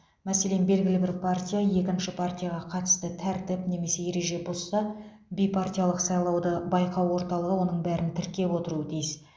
мәселен белгілі бір партия екінші партияға қатысты тәртіп немесе ереже бұзса бейпартиялық сайлауды байқау орталығы оның бәрін тіркеп отыруы тиіс